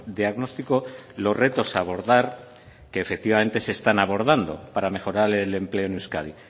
diagnóstico los retos a abordar que efectivamente se están abordando para mejorar el empleo en euskadi